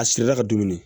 A siri la ka dumuni